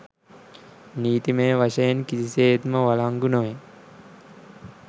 නීතිමය වශයෙන් කිසිසේත්ම වලංගු නොවේ